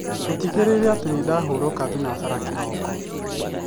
ũtigĩrĩre atĩ nĩ ndarahũka thinashara kiroko